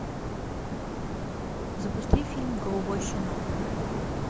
запусти фильм голубой щенок